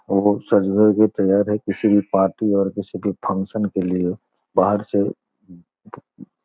वो सज-धज के तैयार है किसी पार्टी और किसी भी फंक्शन के लिए बाहर से --